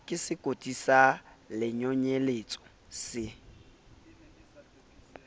ke sekoti sa lenonyeletso se